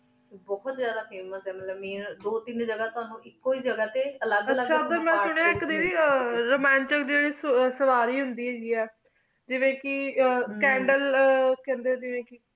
ਬੁਹਤ ਜਾਦਾ famous ਮਤਲਬ ਆਯ ਕੀ ਬੁਹਤ ਜਾਦਾ ਜਗਾ ਤੂੰ ਤੁਵਾਨੁ ਆਇਕ ਜਗ੍ਹਾ ਟੀ ਅਲੀਘ ਅਲੀਇਘ ਟੀ ਆਚਾ ਮੈਂ ਸੁਯੰ ਕੀ ਰੁਮੰਤਿਗ ਜਾਹਿ ਸਵਾਰੀ ਹੁਦੇ ਹੀ ਜਾਵੀਂ ਕੀ ਕੈਨ੍ਦ੍ਲੇ ਜਾਵੀਂ ਕੀ